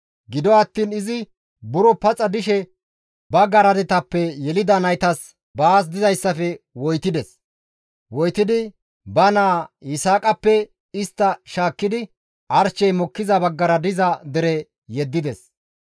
Gido attiin izi buro paxa dishe ba garadetappe yelida naytas baas dizayssafe woytides. Woytidi ba naa Yisaaqappe istta shaakkidi arshey mokkiza baggara diza dere yeddides.